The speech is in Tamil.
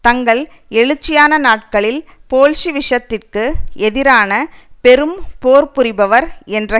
தங்கள் எழுச்சியான நாட்களில் போல்ஷிவிசத்திற்கு எதிரான பெரும் போர் புரிபவர் என்ற